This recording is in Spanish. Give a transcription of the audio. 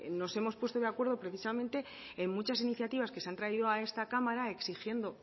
nos hemos puesto de acuerdo precisamente en muchas iniciativas que se han traído a esta cámara exigiendo